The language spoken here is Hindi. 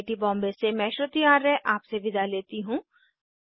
आई आई टी बॉम्बे से मैं श्रुति आर्य आपसे विदा लेती हूँ